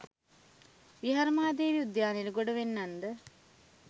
විහාර මහා දේවී උද්‍යානයට ගොඩ වෙන්නන් ද